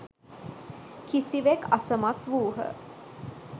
කිසිවෙක් අසමත් වූහ